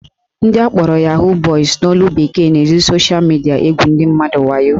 Ndị akpọrọ "Yahoo boys" n'olu bekee na-eji sosha midia egwu ndị mmadụ wayo